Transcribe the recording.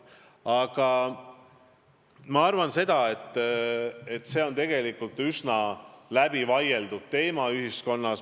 Üldiselt ma arvan, et see on tegelikult ühiskonnas üsna läbivaieldud teema.